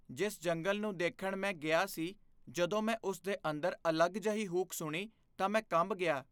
ਜਿਸ ਜੰਗਲ ਨੂੰ ਦੇਖਣ ਮੈਂ ਗਿਆ ਸੀ ਜਦੋਂ ਮੈਂ ਉਸ ਦੇ ਅੰਦਰ ਅਲੱਗ ਜਿਹੀ ਹੂਕ ਸੁਣੀ ਤਾਂ ਮੈਂ ਕੰਬ ਗਿਆ।